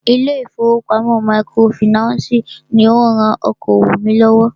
Ilé ìfọwọ́pamo microfinancii ní o rán okoòwò mí lọ́wọ́.